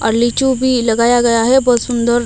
अर्लीचो भी लगाया गया है बहुत सुंदर--